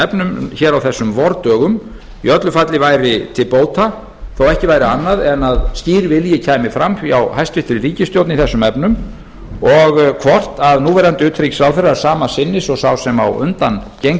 efnum hér á þessum vordögum í öllu falli væri til bóta þó ekki væri annað en að skýr vilji kæmi fram hjá hæstvirtri ríkisstjórn í þessum efnum og hvort núverandi utanríkisráðherra er sama sinnis og sá sem á undan gegndi